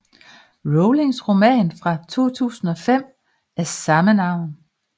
Rowlings roman fra 2005 af samme navn